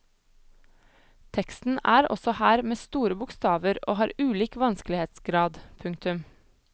Teksten er også her med store bokstaver og har ulik vanskelighetsgrad. punktum